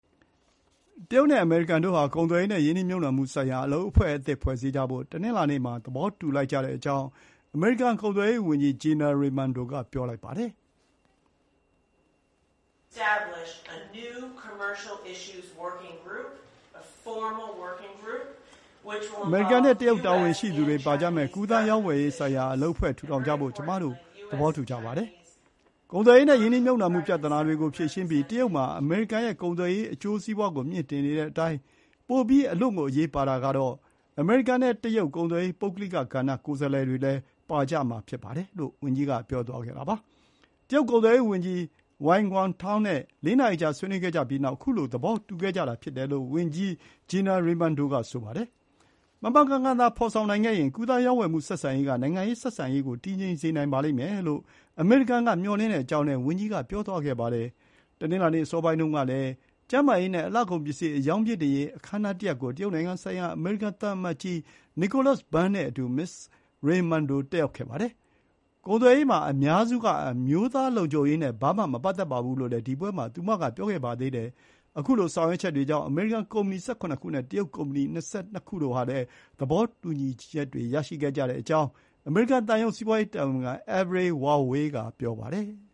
တရုတ်နဲ့ အမေရိကန်တို့ဟာ ကုန်သွယ်ရေးနဲ့ရင်းနှီးမြှုပ်နှံမှုဆိုင်ရာ အလုပ် အဖွဲ့အသစ်တွေဖွဲ့စည်းကြဖို့ တနင်္လာနေ့မှာ သဘောတူလိုက်ကြကြောင်း အမေရိကန်ကုန်သွယ်ရေးဝန်ကြီး ဂျီနာ ရေမန်ဒို (Gina Raimondo) က ပြောပါတယ်။ “အမေရိကန်နဲ့တရုတ်တာဝန်ရှိသူတွေပါကြမယ့် ကူးသန်းရောင်းဝယ်ရေးဆိုင်ရာအလုပ်အဖွဲ့ ထူထောင်ကြဖို့ ကျမတို့ သဘောတူကြပါတယ်။ ကုန်သွယ်ရေးနဲ့ ရင်းနှီးမြှုပ်နှံမှုပြဿနာတွေကိုဖြေရှင်းပြီး တရုတ်မှာ အမေရိကန်ရဲ့ ကုန်သွယ်ရေးအကျိုးစီးပွါးကို မြှင့်တင်နေတဲ့အတိုင်း ပိုပြီး အလွန့်ကို အရေးပါတာကတော့ အမေရိကန်နဲ့တရုတ် ကုန်သွယ်ရေး ပုဂ္ဂလိကကဏ္ဍ ကိုယ်စားလှယ်တွေလည်းပါကြဖို့ ဖြစ်ပါတယ်။” လို့ ဝန်ကြီးက ပြောသွားတာပါ။ တရုတ်ကုန်သွယ်ရေးဝန်ကြီး Wang Wentao နဲ့ ၄ နာရီကြာ ဆွေးနွေးကြပြီးတဲ့နောက် ခုလို သဘောတူခဲ့ကြတာဖြစ်တယ်လို့ ဝန်ကြီး ဂျီနာ ရေမန်ဒို က ဆိုပါတယ်။ မှန်မှန်ကန်ကန်သာ ဖော်ဆောင်နိုင်ခဲ့ရင် ကူးသန်းရောင်းဝယ်မှု ဆက်ဆံရေးက နိုင်ငံရေးဆက်ဆံရေးကို တည်ငြိမ်စေနိုင်မယ်လို့ အမေရိကန် က မျှော်လင့်တဲ့အကြောင်းလည်း ဝန်ကြီးက ပြောသွားပါတယ်။ တနင်္လာနေ့ အစောပိုင်းတုန်းကလည်း ကျန်းမာရေးနဲ့ အလှကုန်ပစ္စည်း အရောင်းမြှင့်တင်ရေး အခမ်းအနားတရပ်ကို တရုတ်နိုင်ငံဆိုင်ရာ အမေရိကန် သံအမတ်ကြီး Nicolas Burns နဲ့အတူ မစ္စ ရေမန်ဒို တက်ရောက်ခဲ့ပါတယ်။ ကုန်သွယ်ရေးမှာ အများစုက အမျိုးသားလုံခြုံရေးနဲ့ ဘာမှမပတ်သက်ပါဘူး လို့လည်း ဒီပွဲမှာ သူမက ပြောခဲ့ပါသေးတယ်။ ခုလို ဆောင်ရွက်ချက်တွေကြောင့် အမေရိကန်ကုမ္ပဏီ ၁၇ ခုနဲ့ တရုတ်ကုမ္ပဏီ ၂၂ ခု တို့ဟာလည်း သဘောတူညီချက်တွေရခဲ့ကြကြောင်း အမေရိကန်သံရုံး စီးပွါးရေးတာဝန်ခံ Everett Wawai က ပြောပါတယ်။